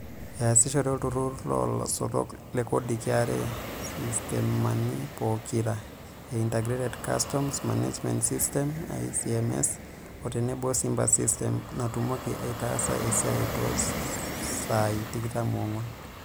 Easishore olturu loolasotok le Kodi (KRA) sistemani pokira e Integrated Customs Management System (iCMS) o tenebo Simba Systems natumoki aitaasa esiai too saai tikitam oonguan.